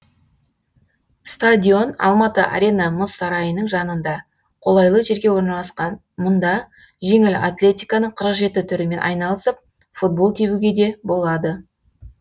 стадион алматы арена мұз сарайының жанында қолайлы жерге орналасқан мұнда жеңіл атлетиканың қырық жеті түрімен айналысып футбол тебуге де болады